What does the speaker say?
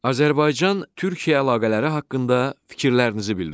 Azərbaycan-Türkiyə əlaqələri haqqında fikirlərinizi bildirin.